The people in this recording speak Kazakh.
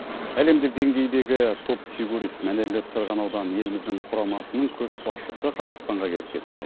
әлемдік деңгейдегі топ фигурист мәнерлеп сырғанаудан еліміздің құрамасының көшбасшысы қазақстанға келіп кетті